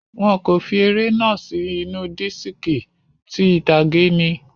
Wọn kò fi eré náà sì inú diski, ti ìtàgé ni.